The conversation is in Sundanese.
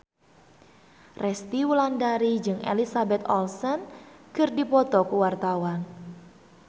Resty Wulandari jeung Elizabeth Olsen keur dipoto ku wartawan